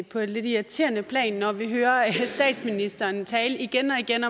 på et lidt irriterende plan når vi hører statsministeren igen og igen